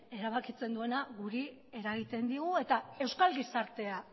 erabakitzen duenak guri eragiten digu eta euskal gizartea